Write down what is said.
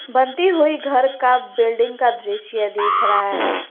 बनती हुई घर का बिल्डिंग का दृश्य दिख रहा है।